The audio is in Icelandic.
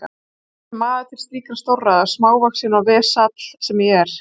Ég er ekki maður til slíkra stórræða, smávaxinn og vesall sem ég er.